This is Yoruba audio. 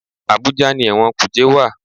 Àbújá ni ẹ̀wọ̀n kùjé wà.